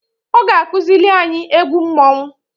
Ọ ga akụzịlị anyị egwu mmonwu.